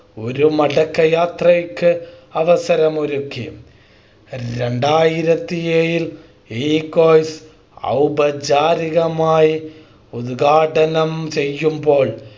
ഒരു മടക്കയാത്രയ്‌ക്ക് അവസരം ഒരുക്കി രണ്ടായിരത്തി ഏഴിൽ ഔപചാരികമായി ഉദ്ഘാടനം ചെയ്യുമ്പോൾ